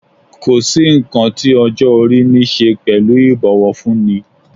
Kò sí nǹkan tí ọjọ́ - orí niṣe pẹ̀lú ibowofunni.